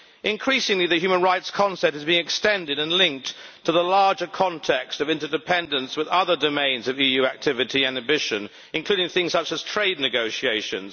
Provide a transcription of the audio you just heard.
Increasingly, the human rights concept is being extended and linked to the larger context of interdependence with other domains of EU activity and ambition, including things such as trade negotiations.